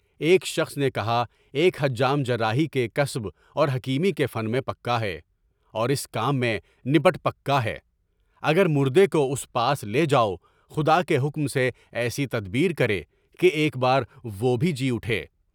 ایک شخص نے کہا، ایک حجام جراحی کے کسب اور حکیمی کے فن میں پکا ہے، اور اس کام میں نپٹ پکا ہے، اگر مُردے کو اُس پاس لے جاؤ، خدا کے حکم سے ایسی تدبیر کرے کہ ایک بار وہ بھی جی اُٹھے۔